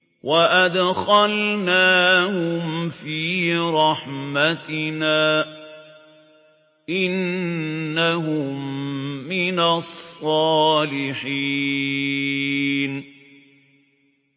وَأَدْخَلْنَاهُمْ فِي رَحْمَتِنَا ۖ إِنَّهُم مِّنَ الصَّالِحِينَ